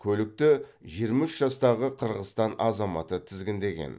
көлікті жиырма үш жастағы қырғызстан азаматы тізгіндеген